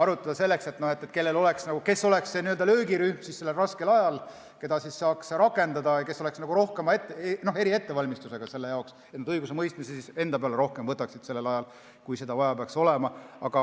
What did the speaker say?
Võiks arutada, kes oleks see löögirühm sellel raskel ajal, keda saaks rakendada ja kes oleks eriettevalmistusega selle jaoks, et nad õigusemõistmist rohkem enda peale võtaksid, kui seda vaja peaks olema.